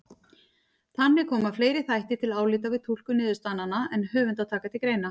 Þannig koma fleiri þættir til álita við túlkun niðurstaðnanna en höfundar taka til greina.